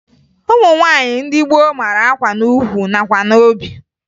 Ụmụ nwaanyị ndị gboo mara akwa n'ukwu nakwa n'obi